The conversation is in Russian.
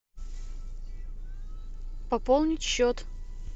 пополнить счет